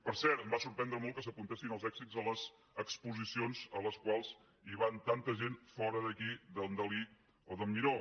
per cert em va sorprendre molt que s’apuntessin els èxits a les exposicions a les quals hi va tanta gent fora d’aquí d’en dalí o d’en miró